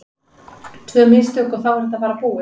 Tvö mistök og þá er þetta bara búið.